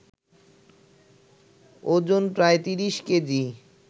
ওজন প্রায় ৩০ কেজি